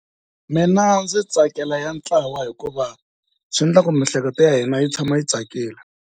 Mina ndzi tsakela ya ntlawa hikuva swi endla ku miehleketo ya hina yi tshama yi tsakile.